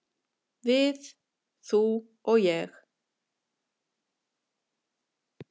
"""Við, þú og ég."""